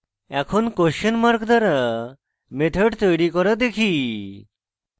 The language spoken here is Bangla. এখন question mark দ্বারা methods তৈরী করা দেখি